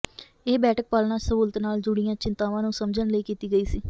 ਇਹ ਬੈਠਕ ਪਾਲਣਾ ਸਹੂਲਤ ਨਾਲ ਜੁੜੀਆਂ ਚਿੰਤਾਵਾਂ ਨੂੰ ਸਮਝਣ ਲਈ ਕੀਤੀ ਗਈ ਸੀ